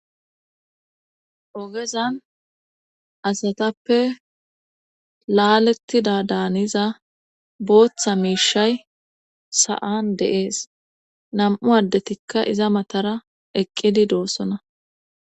ogezan asatappe laalettida daaniza booththa miishay sa7an deees nam7u addetikka iza matara eqqidi doossona